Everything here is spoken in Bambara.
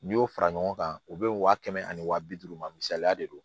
N'i y'o fara ɲɔgɔn kan u bɛ waa kɛmɛ ani waa bi duuru ma misaliya de don